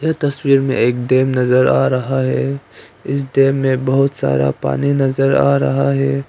तस्वीर में एक डैम नजर आ रहा है इस डैम में बहुत सारा पानी नजर आ रहा है।